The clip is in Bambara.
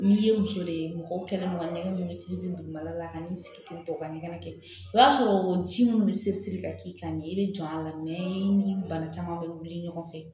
N'i ye muso de ye mɔgɔ kɛnɛma ɲɛgamiyɛw ye togo di dugumala la ka n'i sigi ten tɔ u ka ɲɛgɛnɛ kɛ o b'a sɔrɔ ji minnu bɛ se siri ka k'i kan ni i bɛ jɔ a la i ni bana caman bɛ wuli ɲɔgɔn fɛ